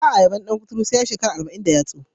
Ba a yabon dan kuturu sai ya yi shekara arba'in da yatsa.